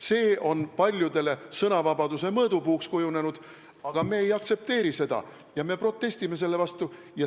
See on paljudele sõnavabaduse mõõdupuuks kujunenud, aga me ei aktsepteeri seda ja me protestime selle vastu.